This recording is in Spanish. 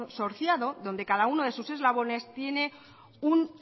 consorciado donde cada uno de sus eslabones